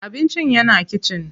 Abincin yana kitchen.